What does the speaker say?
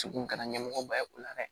Degun kɛra ɲɛmɔgɔ ba ye o la dɛ